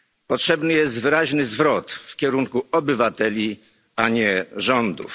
Potrzebny jest wyraźny zwrot w kierunku obywateli, a nie rządów.